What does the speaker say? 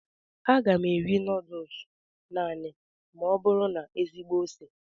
Aga m eri nudulus naanị ma ọ bụrụ na ezigbo ose.